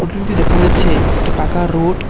Photo টিতে দেখা যাচ্ছে একটি পাকা রোড ।